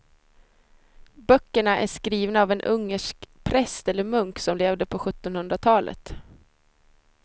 Böckerna är skrivna av en ungersk präst eller munk som levde på sjuttonhundratalet.